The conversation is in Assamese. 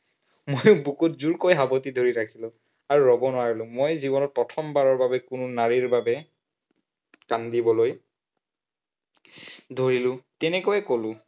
মই বুকুত জোৰকৈ সাৱটি ধৰি থাকিলো। আৰু ৰব নোৱাৰিলো, মই জীৱনত প্ৰথমবাৰৰ বাবে কোনো নাৰীৰ বাবে কান্দিবলৈ ধৰিলো, তেনেকৈয়ে বহুত